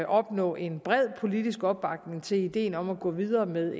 opnå en bred politisk opbakning til ideen om at gå videre med